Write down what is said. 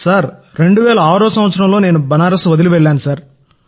నేను 2006లో బనారస్ వదిలి వెళ్ళాను సార్